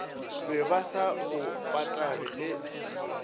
bebase sa bo patage e